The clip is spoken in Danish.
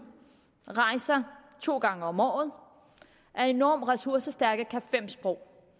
rejser to gange om året er enormt ressourcestærke kan fem sprog